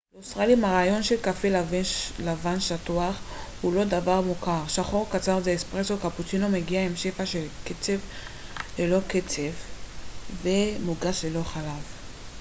לאוסטרלים הרעיון של קפה 'לבן שטוח' הוא לא דבר מוכר. שחור קצר זה 'אספרסו' קפוצ'ינו מגיע עם שפע של קצפת לא קצף ותה מוגש ללא חלב